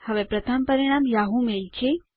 હવે પ્રથમ પરિણામ યાહૂ મેઇલ છે